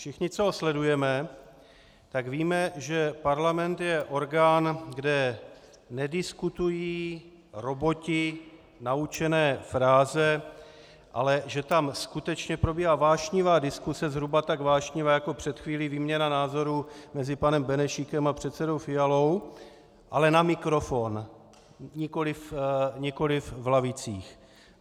Všichni, co ho sledujeme, tak víme, že parlament je orgán, kde nediskutují roboti naučené fráze, ale že tam skutečně probíhá vášnivá diskuse, zhruba tak vášnivá jako před chvílí výměna názorů mezi panem Benešíkem a předsedou Fialou, ale na mikrofon, nikoliv v lavicích.